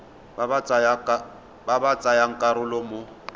ba ba tsayang karolo mo